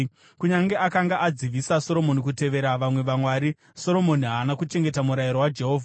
Kunyange akanga adzivisa Soromoni kutevera vamwe vamwari, Soromoni haana kuchengeta murayiro waJehovha.